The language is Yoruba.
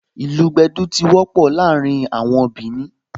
Ìlù gbẹ̀dú tí wọ́pọ̀ láàrin àwọn Bìnì